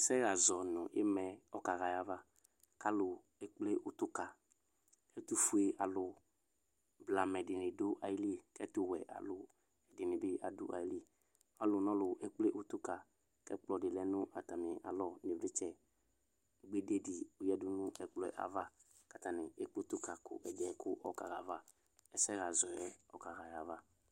ɛsɛha azɔnʋ imaɛɛ ɔkaha ayʋava kalʋ ekple ʋtʋka ɛtʋƒʋe alʋ blamɛ dini dʋ ayilii kɛtʋwɛ alʋ dinibi adʋ ayilii kalʋ nʋ ɔlʋ ekple ʋtʋka ɛkplɔdi lɛ nʋ atami alɔ nivlitsɛ gbededi adʋ ɛkplɔ yɛ ava katani ekple ʋtʋka kɛdiɛ ɔkaha ayava ɛsɛhazɔɛ ɔkaha ayava